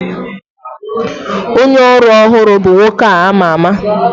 Onye ọrụ ọhụrụ bụ nwoke a ma ama